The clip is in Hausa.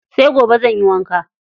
Sai gobe zanyi wanka.